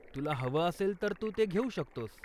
तुला हवं असेल तर तू ते घेऊ शकतोस.